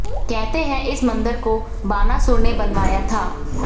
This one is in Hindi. कहते हैं इस मन्दिर को बानासुर ने बनवाया था